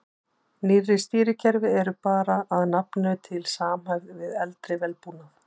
Nýrri stýrikerfi eru bara að nafninu til samhæfð við eldri vélbúnað.